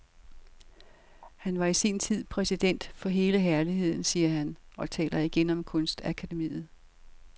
Han var i sin tid præsident for hele herligheden, siger han og taler igen om kunstakademiet.